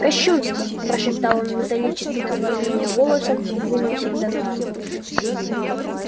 кощунство прошептал он металлическим от волнения голосом и двинулся к доновану